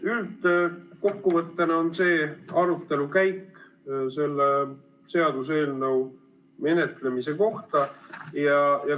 Kokkuvõttena oli see selle seaduseelnõu menetlemise arutelu käik.